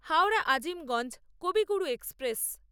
Howrah Azimganj Kaviguru express